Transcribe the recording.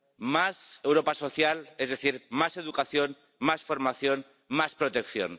Más Europa social, es decir, más educación, más formación, más protección.